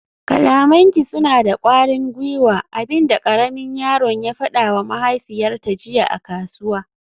kalamanki suna da kwarin gwiwa, abin da karamin yaron ya fadawa mahaifiyarta jiya a kasuwa